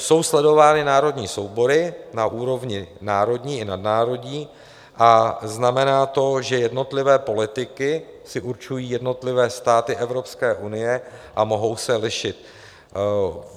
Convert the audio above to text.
Jsou sledovány národní soubory na úrovni národní i nadnárodní a znamená to, že jednotlivé politiky si určují jednotlivé státy Evropské unie a mohou se lišit.